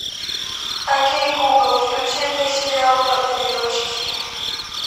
окей гугл включи мне сериал папины дочки